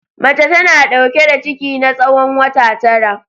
Mace tana dauke da ciki na tsawon wata tara.